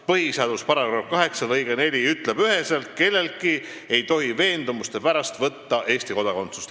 Põhiseaduse § 8 lõige 4 ütleb üheselt: "Kelleltki ei tohi veendumuste pärast võtta Eesti kodakondsust."